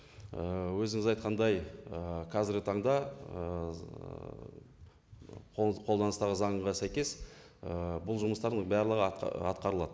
ііі өзіңіз айтқандай ііі қазіргі таңда ііі қолданыстағы заңға сәйкес ііі бұл жұмыстардың барлығы атқарылады